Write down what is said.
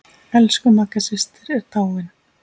Elsku Magga systir er dáin.